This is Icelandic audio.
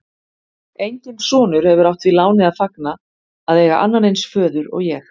Enginn sonur hefur átt því láni að fagna að eiga annan eins föður og ég.